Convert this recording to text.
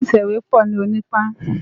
Ilé itèwé pò ni Onipan